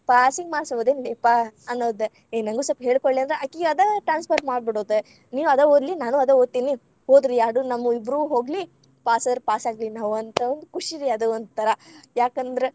Passing marks ಓದಿನ್ಲೆಪ್ಪಾ ಅನ್ನೊದ. ಎ ನನಗೂ ಒಂದ ಸ್ವಲ್ಪ ಹೇಳಕೊಡ್ಲೆ‌ ಅಕಿಗ್‌ ಅದ transfer ಮಾಡಿಬಿಡೋದ ನೀನೂ ಅದ ಓದ್ಲೆ, ನಾನು ಅದ ಓದ್ತೀನಿ. ಹೋದ್ರ ಯಾಡು ನಮ್ಮು ಇಬ್ಬುರ್ವು ಹೋಗ್ಲಿ, ಪಾಸಾದ್ರ ಪಾಸಾಗ್ಲಿ. ನಾವ್‌ ಹಂಥಾವ ಖುಷಿ ರೀ ಅದ್‌ ಒಂಥರಾ, ಯಾಕಂದ್ರ.